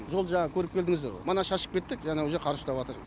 жол жаңағы көріп келдіңіздер ғой мана шашып кеттік жаңа уже қар ұстап жатыр